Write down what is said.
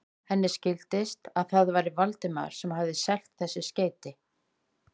Henni skildist, að það væri Valdimar sem hefði selt þessi skeyti.